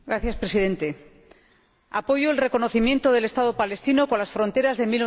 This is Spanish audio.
Señor Presidente, apoyo el reconocimiento del Estado palestino con las fronteras de